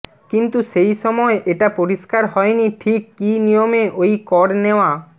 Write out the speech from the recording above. কিন্তু সেই সময় এটা পরিষ্কার হয়নি ঠিক কী নিয়মে ওই কর নেওয়া